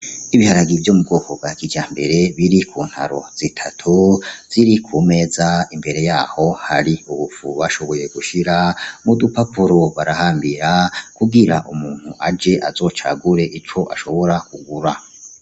Ibiharage vyomu bwoko bwakijambere biri kuntaro zitatu ziri kumeza imbere yaho hari ubufu bashoboye gushira mudupapuro barahambira kugira umuntu aje azocagure ico ashobora kugura.